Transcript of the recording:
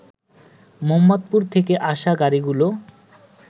মোহাম্মদপুর থেকে আসা গাড়িগুলো